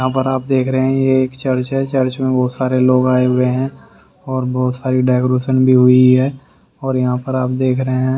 यहां पर आप देख रहे हैं ये एक चर्च है चर्च में बहुत सारे लोग आए हुए हैं और बहुत सारी डेकोरेशन भी हुई है और यहां पर आप देख रहे हैं।